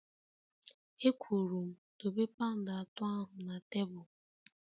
E kwuru m dobe paund atọ ahụ na tebụl!